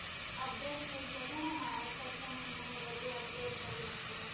update થઇ ગયા છે ને માણસ ને છ મહિના માં બધું update કરી નાકે છે